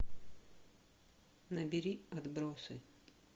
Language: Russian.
набери отбросы